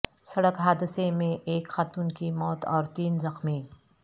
سڑک حادثہ میں ایک خاتون کی موت اور تین زخمی